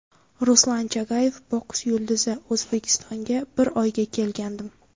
Ruslan Chagayev, boks yulduzi O‘zbekistonga bir oyga kelgandim.